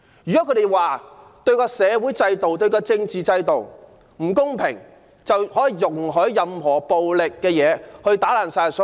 難道社會和政治制度不公，便可容許以暴力行為肆意破壞嗎？